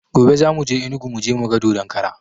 Gobe za muje enugu muje muga dodon kara